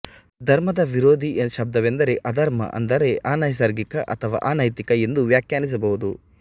ಧರ್ಮದ ವಿರೋಧ ಶಬ್ದವೆಂದರೆ ಅಧರ್ಮ ಅಂದರೆ ಅನೈಸರ್ಗಿಕ ಅಥವಾ ಅನೈತಿಕ ಎಂದು ವ್ಯಾಖ್ಯಾನಿಸಬಹುದು